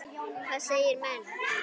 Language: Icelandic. Hvað segja menn?